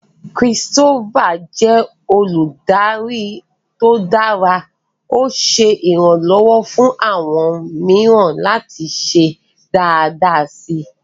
Christopher jẹ oludari to dara, o ṣe iranlọwọ fun awọn miiran lati ṣe daadaa si